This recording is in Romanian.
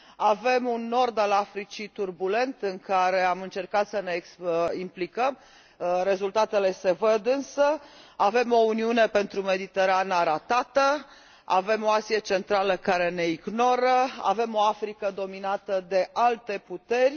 Avem un nord al Africii turbulent, în care am încercat să ne implicăm rezultatele se văd însă, avem o Uniune pentru Mediterana ratată, avem o Asie Centrală care ne ignoră, avem o Africă dominată de alte puteri.